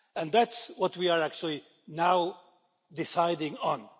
That is what we are actually now deciding on